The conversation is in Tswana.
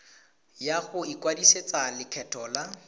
ya go ikwadisetsa lekgetho la